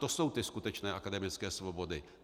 To jsou ty skutečné akademické svobody.